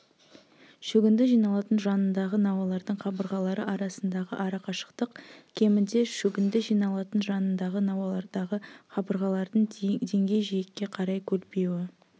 шөгінді жиналатын жанындағы науалардың қабырғалары арасындағы арақашықтық кемінде шөгінді жиналатын жанындағы науалардағы қабырғалардың деңгейжиекке қарай көлбеуі